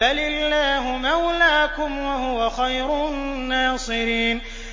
بَلِ اللَّهُ مَوْلَاكُمْ ۖ وَهُوَ خَيْرُ النَّاصِرِينَ